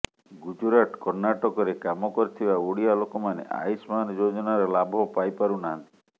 ଗୁଜୁରାଟ କର୍ଣ୍ଣାଟକରେ କାମ କରୁଥିବା ଓଡିଆ ଲୋକମାନେ ଆୟୁଷ୍ମାନ ଯୋଜନାର ଲାଭ ପାଇପାରୁନାହାନ୍ତି